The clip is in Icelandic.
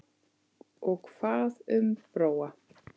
Og hvað um Bróa?